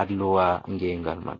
alluwa ngengal man.